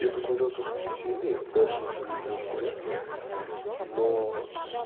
я посмотрел только три серии дальше уже мне неинтересно но